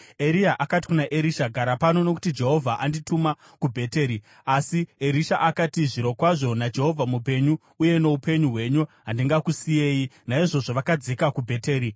Eria akati kuna Erisha, “Gara pano, nokuti Jehovha andituma kuBheteri.” Asi Erisha akati, “Zvirokwazvo naJehovha mupenyu uye noupenyu hwenyu, handingakusiyei.” Naizvozvo vakadzika kuBheteri.